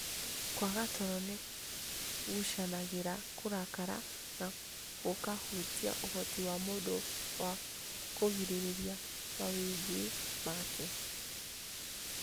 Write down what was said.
Kũaga toro nĩ gũcangagĩra kũrakara na gũkahutia ũhoti wa mũndũ wa kũgirĩrĩria mawĩgwi make.